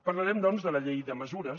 parlarem doncs de la llei de mesures